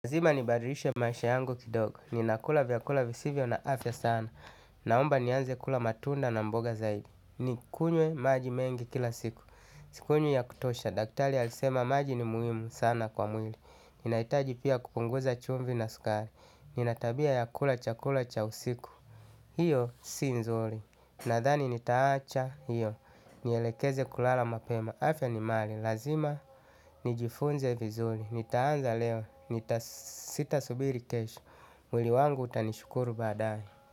Lazima nibadilishe maisha yangu kidogo. Ninakula vyakula visivyo na afya sana. Naomba nianze kula matunda na mboga zaidi nikunywe maji mengi kila siku. Sikunywi ya kutosha. Daktari alisema maji ni muhimu sana kwa mwili. Ninahitaji pia kupunguza chumvi na sukari. Nina tabia ya kula chakula cha usiku. Hiyo si nzuri. Nadhani nitaacha hiyo. Nielekeze kulala mapema. Afya ni mali. Lazima nijifunze vizuri. Nitaanza leo. Sitasubiri kesho. Mwili wangu utanishukuru baadae.